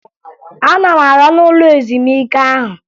Ana m aga n'ụlọ ezumike ahụ